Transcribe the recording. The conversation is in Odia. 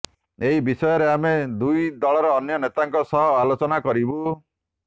ଏହି ବିଷୟରେ ଆମେ ଦୁଇ ଦଳର ଅନ୍ୟ ନେତାଙ୍କ ସହ ଆଲୋଚନା କରିବୁ